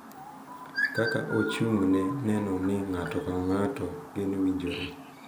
Kaka ochung’ ne neno ni ng’ato ka ng’ato geno winjore.